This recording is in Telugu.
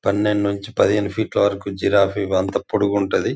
పనేండు నుంచి పదిహేను ఫీట్ లా వరకు జిరాఫీ అంత పొడుగుంటది.